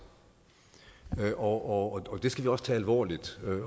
og det skal vi også tage alvorligt